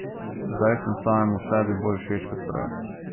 Zdaj sem samemu sebi bolj všeč kot prej.